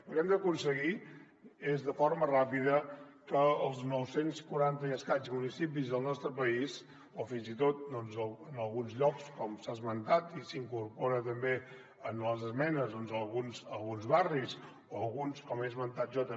el que hem d’aconseguir és de forma ràpida que els nou cents i quaranta i escaig municipis del nostre país o fins i tot doncs en alguns llocs com s’ha esmentat i s’incorpora també en les esmenes en alguns barris o alguns com he esmentat jo també